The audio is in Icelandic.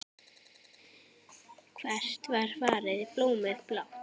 Hvert var farið blómið blátt?